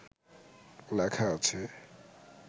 লেখা আছে